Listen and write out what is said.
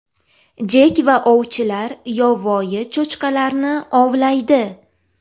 Jek va ovchilar yovvoyi cho‘chqalarni ovlaydi.